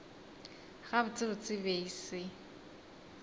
gabotsebotse e be e se